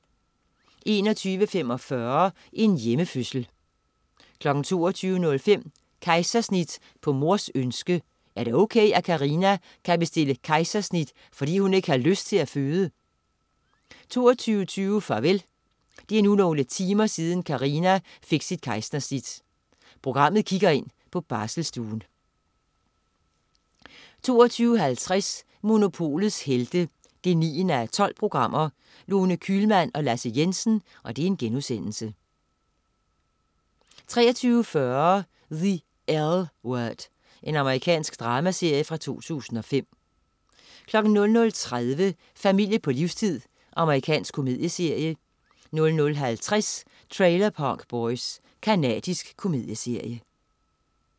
21.45 En hjemmefødsel 22.05 Kejsersnit på mors ønske. Er det ok, at Karina kan bestille kejsersnit, fordi hun ikke har lyst til at føde? 22.20 Farvel. Det er nu nogle timer siden, Karina fik sit kejsersnit. Programmet kigger ind på barselsstuen 22.50 Monopolets Helte 9:12. Lone Kühlmann og Lasse Jensen* 23.40 The L Word. Amerikansk dramaserie fra 2005 00.30 Familie på livstid. Amerikansk komedieserie 00.50 Trailer Park Boys. Canadisk komedieserie